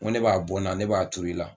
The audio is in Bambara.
Ko ne b'a bɔ n na ne b'a tur'i la